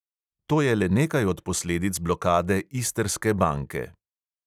To je le nekaj od posledic blokade istrske banke.